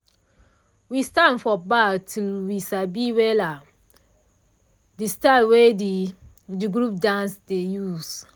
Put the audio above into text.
we stand for back till we sabi wella de style wey de the group dance dey use.